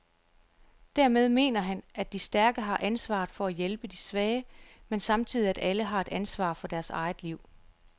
Dermed mener han, at de stærke har ansvaret for at hjælpe de svage, men samtidig at alle har et ansvar for deres eget liv.